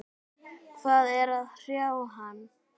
Hvað er að hrjá hann?